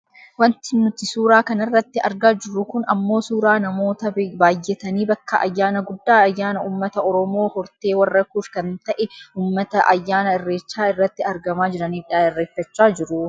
Wanti nuti suuraa kanarratti argaa jirru kun ammoo suuraa namoota baayyatanii bakka ayyaana guddaa ayyaana uumata oromoo hortee warra kuush kan ta'e uummata ayyaana irreechaa irratti argamaa jiraniidha. Irreeffachaa jiru.